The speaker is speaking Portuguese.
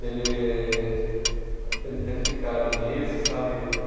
De ele ele ter ficado nisso, sabe?